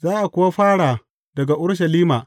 Za a kuwa fara daga Urushalima.